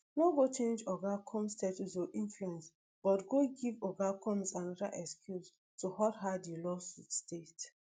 no go change oga combs status or influence but go give oga combs anoda excuse to hurt her di lawsuit state